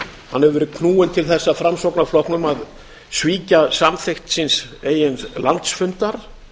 hann hefur verið knúinn til þess af framsóknarflokknum að svíkja samþykkt síns eigin landsfundar